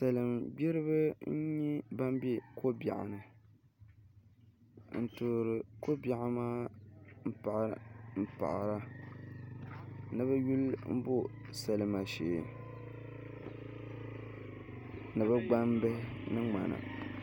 Salin gbiribi n nyɛ ban bɛ ko biɛɣu ni n toori ko biɛɣu maa n paɣara ni bi yuli bo salima shee ni bi gbambihi ni ŋmana